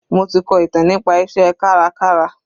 Mo ti kọ ìtàn nípa iṣẹ́ kárakára.